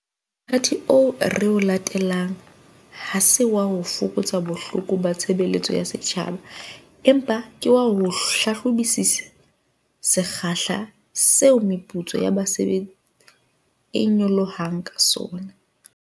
Mothati oo re o latelang ha se wa ho fokotsa boholo ba tshebeletso ya setjhaba, empa ke wa ho hlahlobisisa sekgahla seo meputso ya basebetsi e nyolohang ka sona.